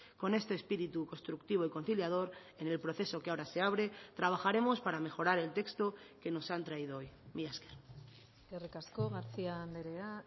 con este espíritu constructivo y conciliador en el proceso que ahora se abre trabajaremos para mejorar el texto que nos han traído hoy mila esker eskerrik asko garcía andrea